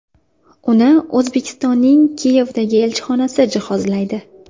Uni O‘zbekistonning Kiyevdagi elchixonasi jihozlaydi.